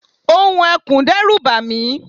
ohùn ekùn dẹ́rù bàmí